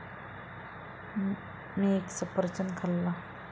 मी एक सफरचंद खाल्ला.